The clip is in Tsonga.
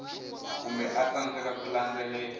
kumbe a tsandzeka ku landzelela